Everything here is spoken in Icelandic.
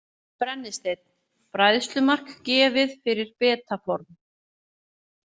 Brennisteinn: Bræðslumark gefið fyrir beta form.